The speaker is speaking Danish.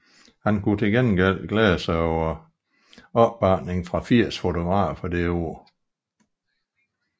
Han kunne til gengæld glæde sig over opbakning fra 80 fotografer det år